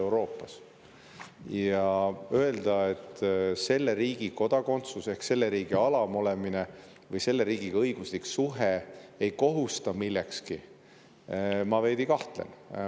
Kui öelda, et selle riigi kodakondsus ehk selle riigi alam olemine või õiguslik suhe selle riigiga ei kohusta millekski, siis mina selles veidi kahtlen.